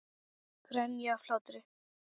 Grenja af hlátri.